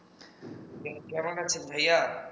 কেমন আছেন ভাইয়া